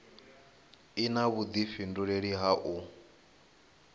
i na vhudifhinduleli ha u